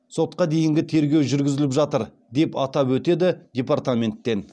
сотқа дейінгі тергеу жүргізіліп жатыр деп атап өтеді департаменттен